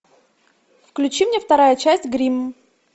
включи мне вторая часть гримм